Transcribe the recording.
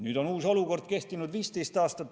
Nüüd on ka uus olukord kehtinud 15 aastat.